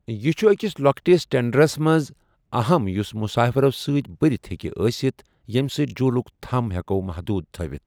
یہِ چھُ أکِس لۄکٹِس ٹینڑرَس منٛز اَہَم یُس مُسافِرَو سۭتۍ بٔرِتھ ہٮ۪کہِ ٲسِتھ، ییٚمہِ سۭتۍ جھوٗلٕک تھم ہٮ۪کو محدوٗد تھٲوِتھ۔